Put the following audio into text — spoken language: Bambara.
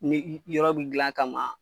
Ni yɔrɔ bi gilan a kama.